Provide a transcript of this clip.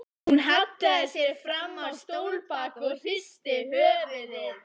Hún hallaði sér fram á stólbak og hristi höfuðið.